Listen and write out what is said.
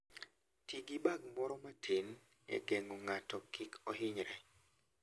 Ti gi bag moro matin e geng'o ng'ato kik ohinyre.